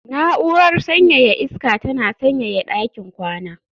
Na'urar sanyaya iska tana sanyaya ɗakin kwana